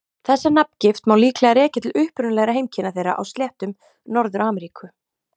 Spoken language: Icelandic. Þessa nafngift má líklega rekja til upprunalegra heimkynna þeirra á sléttum Norður-Ameríku.